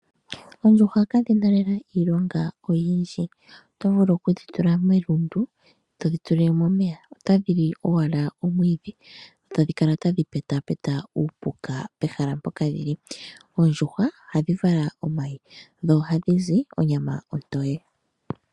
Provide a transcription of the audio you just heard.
Oondjuhwa ka dhi na lela iilonga oyindji. Oto vulu oku dhi tula melundu, e to dhi tulile mo omeya, otadhi li owala omwiidhi e ta dhi kala tadhi pekapeka uupuka pehalampoka dhi li. Oondjuhwa ohadhi vala omayi, dho ohadhi zi onyama ontoye.